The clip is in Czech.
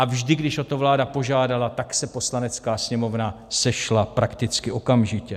A vždy, když o to vláda požádala, tak se Poslanecká sněmovna sešla prakticky okamžitě.